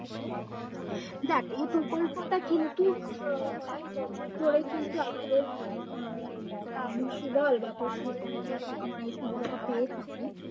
দেখ এই প্রকল্পটা কিন্তু আহ অনেক বছর ধরে কিন্তু আমাদের আহ ভারতবর্ষে বল বা পশ্চিমবঙ্গে আমরা এর সুবিধাটা পেয়ে থাকি